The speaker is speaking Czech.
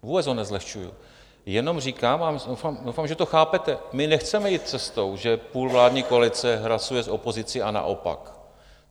Vůbec ho nezlehčuji, jenom říkám a doufám, že to chápete: My nechceme jít cestou, že půl vládní koalice hlasuje s opozicí a naopak.